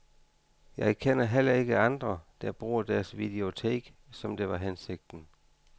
Jeg kender heller ikke andre, der bruger deres videotek, som det var hensigten.